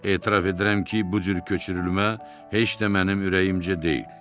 Etiraf edirəm ki, bu cür köçürülmə heç də mənim ürəyimcə deyil.